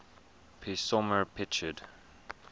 p isomer pictured